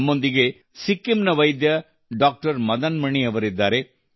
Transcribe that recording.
ನಮ್ಮೊಂದಿಗೆ ಸಿಕ್ಕಿಂನ ವೈದ್ಯ ಡಾಕ್ಟರ್ ಮದನ್ ಮಣಿ ಅವರಿದ್ದಾರೆ